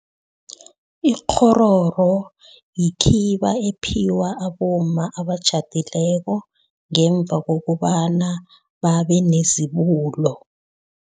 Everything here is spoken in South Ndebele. Ikghororo yikhiba ephiwa abomma abatjhadileko, ngemva kokobana babe nezibulo.